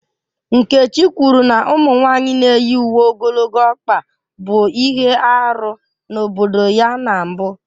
Nkechi kwuru na ụmụ nwanyị na-eyi uwe ogologo ọkpa bụ ihe arụ n'obodo ya na mbụ